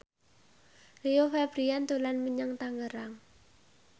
Rio Febrian dolan menyang Tangerang